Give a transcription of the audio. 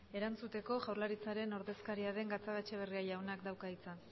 erantzuteko jaurlaritzaren ordezkaria den gatzagaetxebarria jaunak dauka hitza